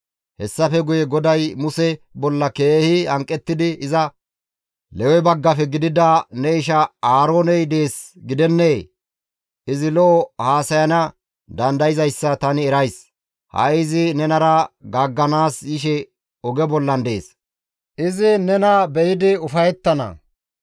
Hessafe guye GODAY Muse bolla keehi hanqettidi iza, «Lewe baggafe gidida ne isha Aarooney dees gidennee? Izi lo7o haasayana dandayzayssa tani erays; ha7i izi nenara gaagganaas yishe oge bollan dees; izi nena be7idi ufayettana.